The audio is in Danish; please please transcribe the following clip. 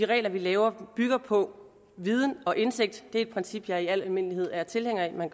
regler vi laver bygger på viden og indsigt det er et princip jeg i al almindelighed er tilhænger af at man